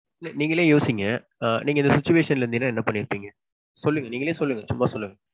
இல்ல நீங்களே யோசிங்க ஆ நீங்க இந்த situation ல இருந்தீங்கனா என்ன பண்ணியிருப்பீங்க. சொல்லுங்க நீங்களே சொல்லுங்க சும்மா சொல்லுங்க.